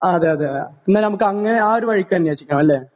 ആ അതേ അതേ എന്നാ നമുക്ക് അങ്ങനെ ആ ഒരു വഴിക്ക് അന്വേഷിക്കാം അല്ലേ